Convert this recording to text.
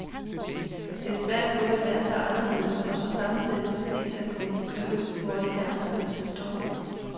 Det er svært både at være så anderledes og så samtidig præcist at kunne beskrive, hvori det anderledes består.